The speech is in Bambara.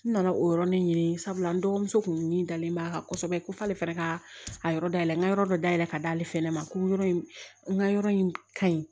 N nana o yɔrɔnin sabula n dɔgɔmuso tun min dalen b'a kan kosɛbɛ ko f'ale fana ka a yɔrɔ dayɛlɛ n ka yɔrɔ dɔ da yɛlɛ ka d'ale fana ma ko yɔrɔ in n ka yɔrɔ in ka ɲi